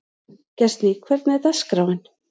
Gestný, hvernig er dagskráin?